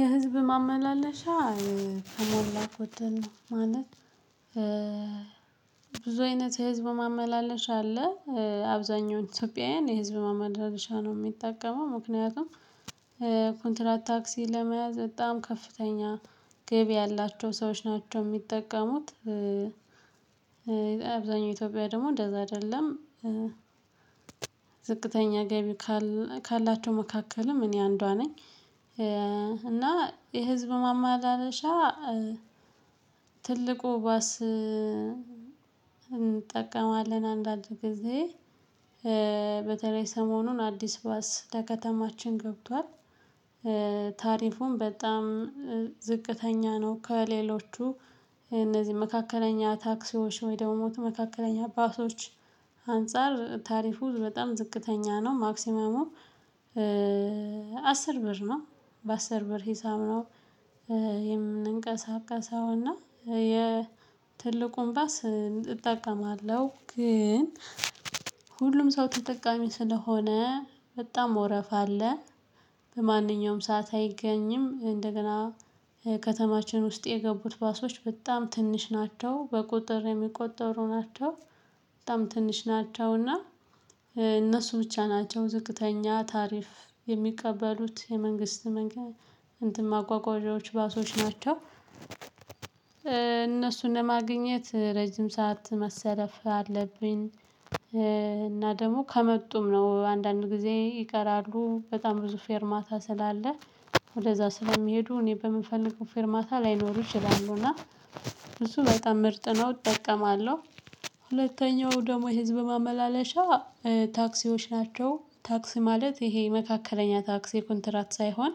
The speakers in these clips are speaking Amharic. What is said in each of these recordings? የህዝብ ማመላለሻ ተሞላ ጎደል ነው። ማለት ብዙ አይነት የህዝብ ማመላለሻ አለ አብዛኛው ኢትዮጵያውያን የህዝብ ማመላለሻ ነው ሚጠቀመው። ምክንያቱም ኮንትራት ታክሲ ለመያዝ በጣም ከፍተኛ ገቢ ያላቸው ሰዎች ናቸው ሚጠቀሙት። ብዙ አይነት የህዝብ ማመላለሻ አለ አብዛኛው ኢትዮጵያውያን የህዝብ ማመላለሻ ነው ሚጠቀመው ምክንያቱም ኮንትራት ታክሲ ለመያዝ በጣም ከፍተኛ ገቢ ያላቸው ሰዎች ናቸው ሚጠቀሙት። ትልቁ ባስ እንጠቀማለን አንዳንድ ጊዜ በተለይ ሰሞኑን አዲስ ባስ ለከተማችን ገብቷል። ታሪፉም በጣም ዝቅተኛ ነው። ከሌሎቹ እነዚህ መካከለኛ ታክሲዎች ወይ ደግሞ መካከለኛ ባሶች አንፃር ታሪፉ በጣም ዝቅተኛ ነው። ማክሲመሙ አስር ብር ነው በአስር ብር ሂሳብ ነው። የምንቀሳቀሰው እና የ ትልቁን ባስ እጠቀማለሁ ግን ሁሉም ሰው ተጠቃሚ ስለሆነ በጣም ወረፋ አለ። በማንኛውም ሰዓት አይገኝም እንደገና ከተማችን ውስጥ የገቡት ባሶች በጣም ትንሽ ናቸው በቁጥር የሚቆጠሩ ናቸው። በጣም ትንሽ ናቸውና እነሱ ብቻ ናቸው ዝቅተኛ ታሪፍ የሚቀበሉት የመንግስት መንገድ እንትን ማጓጓዣዎች ባሶች ናቸው። እነሱን ማግኘት ረጅም ሰዓት መሰለፍ አለብኝ። እና ደግሞ ከመጡም ነው አንዳንድ ጊዜ ይቀራሉ በጣም ብዙ ፌርማታ ስላለ ወደዛ ስለሚሄዱ እኔ በምፈልገው ፌርማታ ላይኖሩ ይችላሉ ና እሱ በጣም ምርጥ ነው። እጠቀማለሁ። ሁለተኛው ደግሞ የህዝብ ማመላለሻ ታክሲዎች ናቸው ታክሲ ማለት ይሄ መካከለኛ ታክሲ ኮንትራት ሳይሆን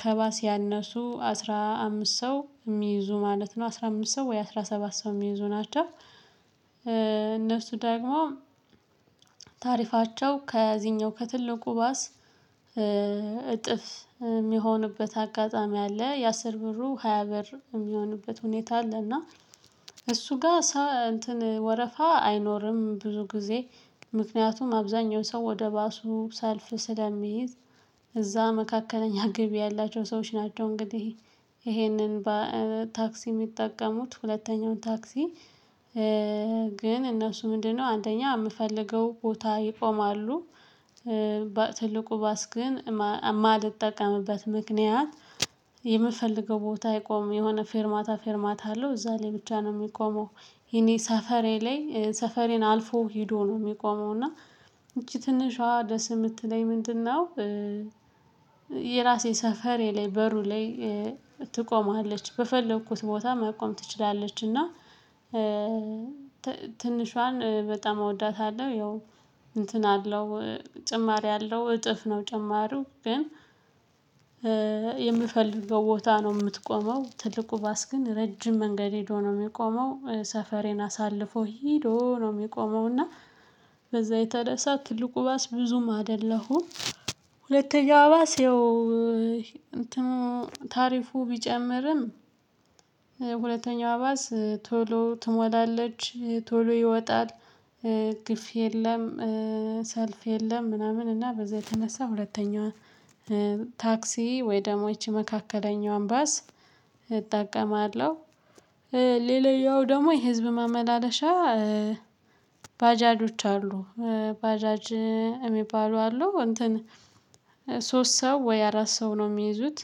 ከባስ ያነሱ አስራ አምስት ሰው ሚይዙ ማለት ነው አስራ አምስት ሰው ወይ አስራ ሰባት ሰው ሚይዙ ናቸው። እነሱ ደግሞ ታሪፋቸው ከዚህኛው ከትልቁ ባስ እጥፍ ሚሆንበት አጋጣሚ አለ ያአስር ብሩ ሃያ ብር ሚሆንበት ሁኔታ አለ። እና እሱ ጋ ሳ እንትን ወረፋ አይኖርም። ብዙ ጊዜ ምክንያቱም አብዛኛው ሰው ወደ ባሱ ሰልፍ ስለሚይዝ እዛ መካከለኛ ገቢ ያላቸው ሰዎች ናቸው እንግዲህ። ይሄንን ታክሲ ሚጠቀሙት ሁለተኛውን ታክሲ ግን እነሱ ምንድነው አንደኛ ምፈልገው ቦታ ይቆማሉ። ትልቁ ባስ ግን ማል እጠቀምበት ምክንያት የምፈልገው ቦታ አይቆምም የሆነ ፌርማታ ፌርማታ አለው እዛ ላይ ብቻ ነው ሚቆመው። የኔ ሰፈሬ ላይ ሰፈሬን አልፎ ሄዶ ነው ሚቆመው። እና ይቺ ትንሿ ደስ ምትለኝ ምንድነው? የራሴ ሰፈሬ ላይ በሩ ላይ ትቆማለች በፈለኩት ቦታ መቆም ትችላለች። እና ትንሿን በጣም እወዳታለሁ። ያው እንትን አለው ጭማሪ አለው እጥፍ ነው ጭማሪው ግን የምፈልገው ቦታ ነው ምትቆመው ትልቁ ባስ ግን ረጅም መንገድ ሄዶ ነው ሚቆመው። ሰፈሬን አሳልፎ ሄዶ ነው ሚቆመው። እና በዛ የተነሳ ትልቁ ባስ ብዙም አይደለሁም። ሁለተኛው ባስ ይኸው። ታሪፉ ቢጨምርም ሁለተኛው ባስ ቶሎ ትሞላለች ቶሎ ይወጣል። ግፊ የለም። ሰልፍ የለም ምናምን እና በዛ የተነሳ ሁለተኛው ታክሲ ወይ ደግሞ ይቺ መካከለኛው ባስ እጠቀማለሁ። ሌላኛው ደግሞ የህዝብ ማመላለሻ ባጃጆች አሉ። ባጃጅ እሚባሉ አሉ እንትን ሶስት ሰው ወይ አራት ሰው ነው ሚይዙት።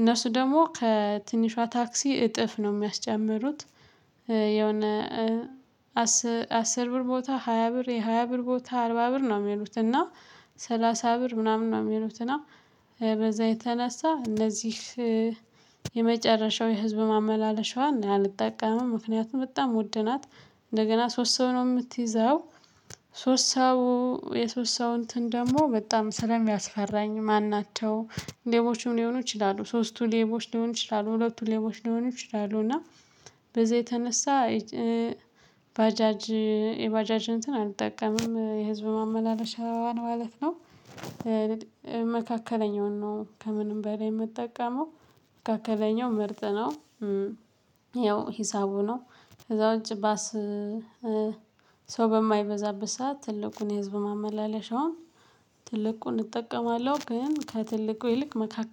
እነሱ ደግሞ ከትንሿ ታክሲ እጥፍ ነው ሚያስጨምሩት። የሆነ አስር ብር ቦታ ሃያ ብር የሃያ ብር ቦታ አርባ ብር ነው ሚሉት። እና ሰላሳ ብር ምናምን ነው ሚሉትና በዛ የተነሳ እነዚህ የመጨረሻው የህዝብ ማመላለሻዋን አልጠቀምም ምክንያቱም በጣም ወድ ናት። እንደገና ሶስት ሰው ነው ምትይዘው። ሶስት ሰው የሶስት ሰው እንትን ደግሞ በጣም ስለሚያስፈራኝ ማን ናቸው ሌቦችም ሊሆኑ ይችላሉ። ሶስቱ ሌቦች ሊሆኑ ይችላሉ ሁለቱ ሌቦች ሊሆኑ ይችላሉ። እና በዛ የተነሳ ባጃጅ የባጃጅ እንትን አልጠቀምም የህዝብ ማመላለሻ ማለት ነው። መካከለኛውን ነው ከምንም በላይ ምጠቀመው። መካከለኛው መርጥ ነው። ያው ሂሳቡ ነው። ከዛ ውጪ ባስ ሰው በማይበዛበት ሰዓት ትልቁን የህዝብ ማመላለሻውን ትልቁን እጠቀማለሁ ግን ከትልቁ ይልቅ መካከል